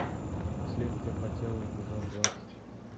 следствие по телу эпизод двадцать